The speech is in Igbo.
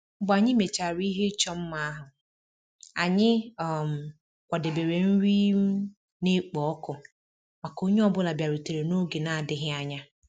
Mgbe anyị mechara ihe ịchọ mma ahụ, anyị um kwadebere nri um na-ekpo ọkụ maka onye ọ bụla bịarutere n'oge na-adịghị anya